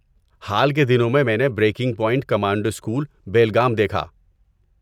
حال کے دنوں میں میں نے 'breaking point commando school, Belgaum' دیکھا